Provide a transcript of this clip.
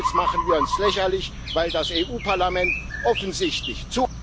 Andernfalls machen wir uns lächerlich, weil das Europäische Parlament offensichtlich zu